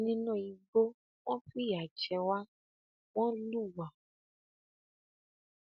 nínú igbó wọn fìyà jẹ wá wọn lù wá